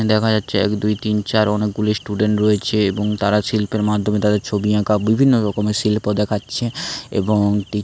দেখা যাচ্ছে এক দুই তিন চার অনেকগুলি স্টুডেন্ট রয়েছে এবং তারা শিল্পের মাধ্যমে তাদের ছবি আঁকা বিভিন্ন রকমের শিল্প দেখাচ্ছে এবং।